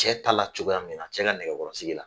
Cɛ t'a la cogoya min na, cɛ ka nɛgɛkɔrɔsigi la